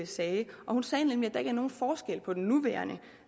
sagde hun sagde nemlig at der ikke er nogen forskel på den nuværende